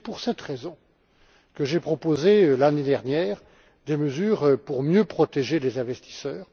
C'est pour cette raison que j'ai proposé, l'année dernière, des mesures pour mieux protéger les investisseurs.